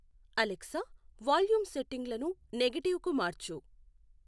Alexa volume సెట్టింగులను negative కు మార్చు